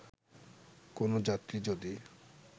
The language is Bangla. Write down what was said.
কোন যাত্রী যদি